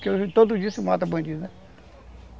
Porque todos os dias se mata bandido, né?